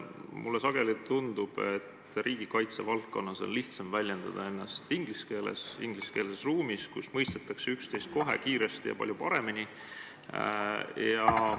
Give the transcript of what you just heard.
Mulle sageli tundub, et riigikaitse valdkonnas on lihtsam väljendada ennast inglise keeles, ingliskeelses ruumis, kus mõistetakse üksteist kohe, kiiresti ja väga hästi.